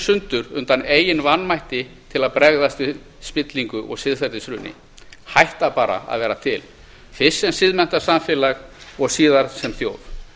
sundur undan eigin vanmætti til að bregðast við spillingu og siðferðishruni hætta bara að vera til fyrst sem siðmenntað samfélag og síðar sem þjóð